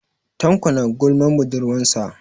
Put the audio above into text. Tanko is gossipping about his girlfriend.